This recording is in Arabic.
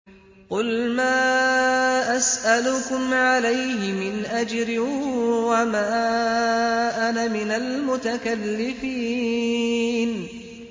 قُلْ مَا أَسْأَلُكُمْ عَلَيْهِ مِنْ أَجْرٍ وَمَا أَنَا مِنَ الْمُتَكَلِّفِينَ